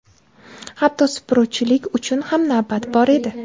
Hatto supuruvchilik uchun ham navbat bor edi.